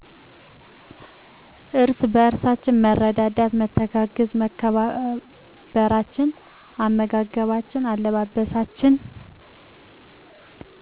እርስ በርእሳችን መረዳዳት መተጋገዝ መከባበራችን አመጋገባችን አለባበሳችን